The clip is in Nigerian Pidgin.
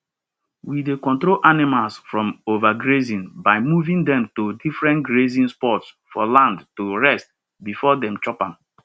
we dey control animals from overgrazing by moving dem to different grazing spots for land to rest before dem chop am